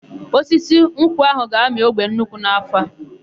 Osisi ụkwa áhụ̀ ga-amị ogbe nnukwu n'áfọ̀ a.